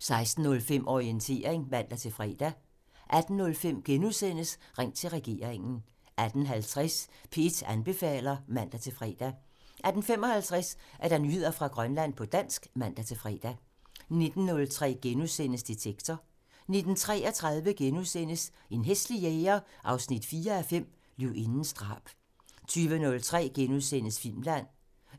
16:05: Orientering (man-fre) 18:05: Ring til regeringen *(man) 18:50: P1 anbefaler (man-fre) 18:55: Nyheder fra Grønland på dansk (man-fre) 19:03: Detektor *(man) 19:33: En hæslig jæger 4:5 – Løvindens drab * 20:03: Filmland